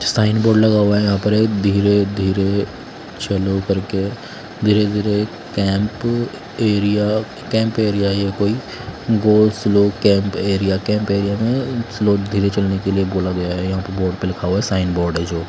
sign board लगा हुआ हैं यहां पर एक धीरे धीरे चलो करके धीरे धीरे कैंप एरिया कैंप एरिया ये कोई go slow camp area camp area में स्लो धीरे चलने के लिए बोला गया है यहां पे बोर्ड पे लिखा गया है जो साइन बोर्ड हैं जो--